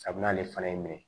Kabini ale fana ye min ye